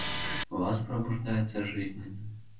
в вас пробуждается жизненная